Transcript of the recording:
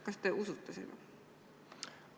Kas te usute seda?